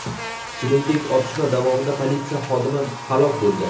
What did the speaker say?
Shuningdek, otishma davomida politsiya xodimi halok bo‘lgan.